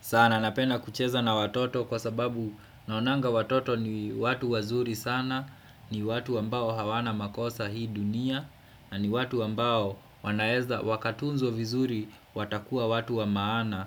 Sana napena kucheza na watoto kwa sababu naonanga watoto ni watu wazuri sana, ni watu ambao hawana makosa hii dunia, na ni watu ambao wanaeza wakatunzwa vizuri watakua watu wa maana